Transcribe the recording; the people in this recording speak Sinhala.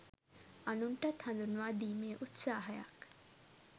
අනුන්ටත් හඳුන්වා දීමේ උත්සාහයක්.